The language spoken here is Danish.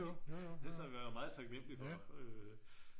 Det så meget taknemmelige for øh